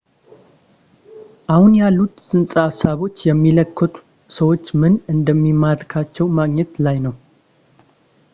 አሁን ያሉት ፅንሰ ሐሳቦች ያማከሉት ሰዎችን ምን እንደሚማርካቸው ማግኘት ላይ ነው